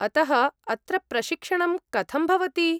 अतः अत्र प्रशिक्षणं कथं भवति?